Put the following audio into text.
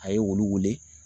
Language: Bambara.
A ye olu wele